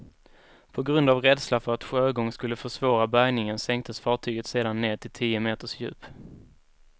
På grund av rädsla för att sjögång skulle försvåra bärgningen sänktes fartyget sedan ned till tio meters djup.